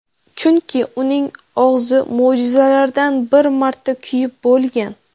Chunki uning og‘zi ‘mo‘jizalar’dan bir marta kuyib bo‘lgan.